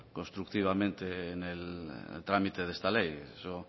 constructivamente en el trámite de esta ley eso